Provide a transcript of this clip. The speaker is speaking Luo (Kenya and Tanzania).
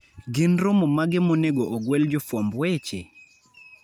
Gin romo mage monego ogwel jofwamb weche?